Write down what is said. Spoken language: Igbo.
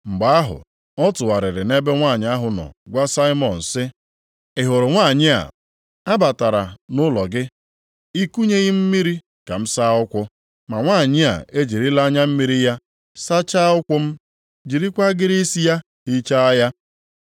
Mgbe ahụ ọ tụgharịrị nʼebe nwanyị ahụ nọ gwa Saimọn sị, “Ị hụrụ nwanyị a? A batara nʼụlọ gị, i kunyeghị m mmiri ka m saa ụkwụ m, ma nwanyị a ejirila anya mmiri ya sachaa ụkwụ m, jirikwa agịrị isi ya hichaa ha.